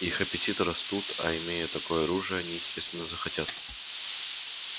их аппетиты растут а имея такое оружие они естественно захотят